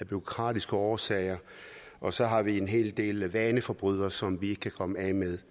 bureaukratiske årsager og så har vi en hel del vaneforbrydere som vi ikke kan komme af med